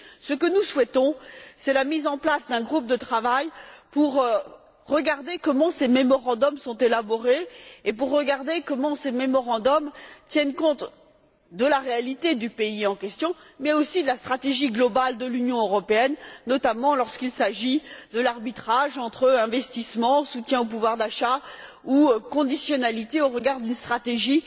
Ce que nous souhaitons, c'est la mise en place d'un groupe de travail pour regarder comment ces mémorandums sont élaborés et pour regarder comment ces mémorandums tiennent compte de la réalité du pays en question, mais aussi de la stratégie globale de l'Union européenne, notamment lorsqu'il s'agit de l'arbitrage entre investissements, du soutien au pouvoir d'achat, ou de la conditionnalité au regard d'une stratégie